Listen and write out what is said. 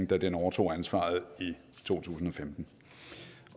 da den overtog ansvaret i to tusind